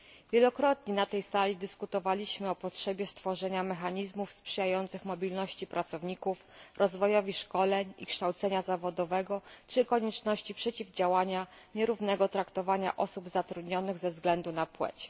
Wielokrotnie na tej sali dyskutowaliśmy o potrzebie stworzenia mechanizmów sprzyjających mobilności pracowników, rozwojowi szkoleń i kształcenia zawodowego czy konieczności przeciwdziałania nierównemu traktowaniu osób zatrudnionych ze względu na płeć.